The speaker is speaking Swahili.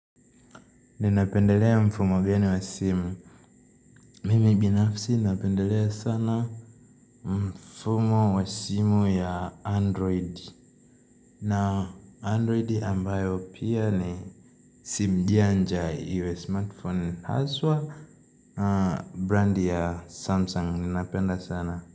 Ninapendelea mfumo geni wa simu Mimi binafsi napendelea sana mfumo wa simu ya android na android ambayo pia ni simu janja iwe smartphone haswa na brandi ya samsung ninapenda sana.